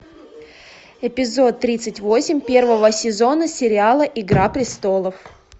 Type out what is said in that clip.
эпизод тридцать восемь первого сезона сериала игра престолов